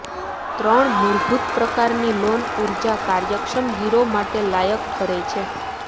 ત્રણ મૂળભૂત પ્રકારની લોન ઊર્જા કાર્યક્ષમ ગીરો માટે લાયક ઠરે છે